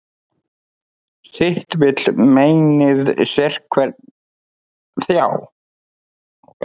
Sitt vill meinið sérhvern þjá.